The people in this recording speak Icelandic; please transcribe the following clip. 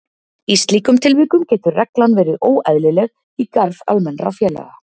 Í slíkum tilvikum getur reglan verið óeðlileg í garð almennra félaga.